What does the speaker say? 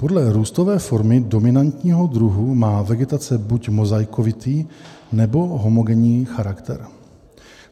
Podle růstové formy dominantního druhu má vegetace buď mozaikovitý nebo homogenní charakter.